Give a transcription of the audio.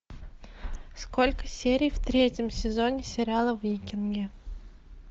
сколько серий в третьем сезоне сериала викинги